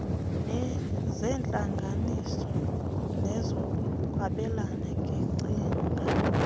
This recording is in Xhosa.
zeentlanganiso nezokwabelana ngeengcinga